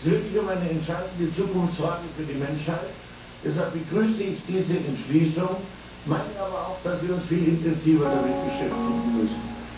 Und hier geht es wirklich um eine entscheidende Zukunftsfrage für die Menschheit, deshalb begrüße ich diese Entschließung, meine aber auch, dass wir uns viel intensiver damit beschäftigen müssen.